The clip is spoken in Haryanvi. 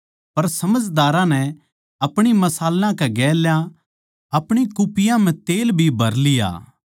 पर समझदारां नै अपणी मशालां कै गेल्या अपणी कुप्पियाँ म्ह तेल भी भर लिया